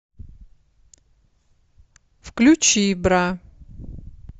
включи бра